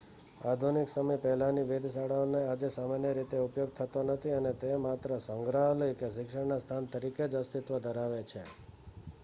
આધુનિક સમય પહેલાંની વેધશાળાઓનો આજે સામાન્ય રીતે ઉપયોગ થતો નથી અને તે માત્ર સંગ્રહાલય કે શિક્ષણના સ્થાન તરીકે જ અસ્તિત્વ ધરાવે છે